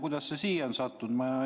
Kuidas see siia on sattunud?